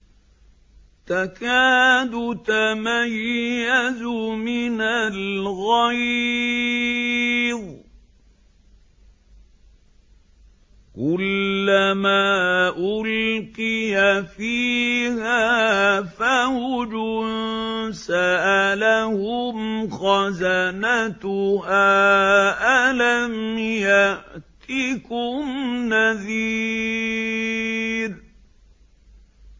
تَكَادُ تَمَيَّزُ مِنَ الْغَيْظِ ۖ كُلَّمَا أُلْقِيَ فِيهَا فَوْجٌ سَأَلَهُمْ خَزَنَتُهَا أَلَمْ يَأْتِكُمْ نَذِيرٌ